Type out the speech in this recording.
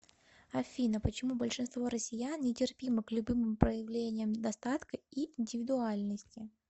афина почему большинство россиян нетерпимы к любым проявлениям достатка и индивидуальности